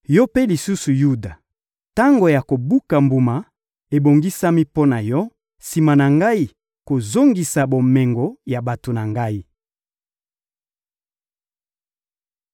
Yo mpe lisusu, Yuda, tango ya kobuka mbuma ebongisami mpo na yo, sima na Ngai kozongisa bomengo ya bato na Ngai.